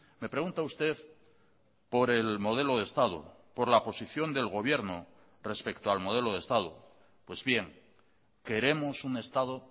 me pregunta usted por el modelo de estado por la posición del gobierno respecto al modelo de estado pues bien queremos un estado